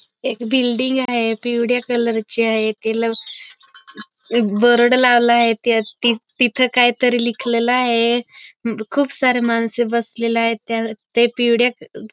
एक बिल्डिंग आहे पिवळ्या कलर ची आहे तिला एक बोर्ड लावलेला आहे तिथं काय तरी लिहिलेलं आहे खूप सारे माणसं बसलेले आहेत ते त्या पिवळ्या --